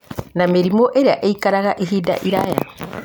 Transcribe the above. na mĩrimũ ĩrĩa ĩikaraga ihinda iraya